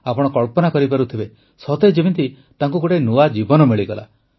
ଆପଣ କଳ୍ପନା କରିପାରୁଥିବେ ସତେ ଯେମିତି ତାଙ୍କୁ ଗୋଟିଏ ନୂଆ ଜୀବନ ମିଳିଗଲା